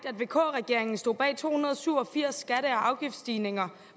at vk regeringen stod bag to hundrede og syv og firs skatte og afgiftsstigninger